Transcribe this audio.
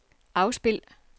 afspil